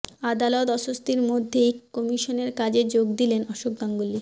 আদালত অস্বস্তির মধ্যেই কমিশনের কাজে যোগ দিলেন অশোক গাঙ্গুলি